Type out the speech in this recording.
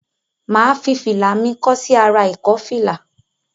Mà á fi fìlà mi kọ́ sí ará ìkọ́fìlà.